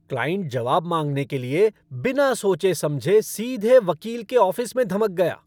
Client जवाब माँगने के लिए, बिना सोचे समझे सीधे वकील के ऑफ़िस में धमक गया!